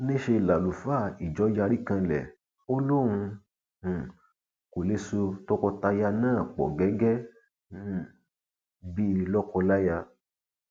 níṣẹ làlùfáà ìjọ yarí kanlẹ ó lóun um kó lè so tọkọtìyàwó náà pọ gẹgẹ um bíi lọkọláya